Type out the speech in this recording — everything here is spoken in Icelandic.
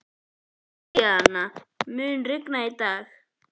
Adríana, mun rigna í dag?